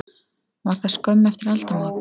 Var það skömmu eftir aldamót.